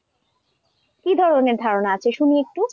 কি ধরনের ধারণা আছে, শুনি একটু?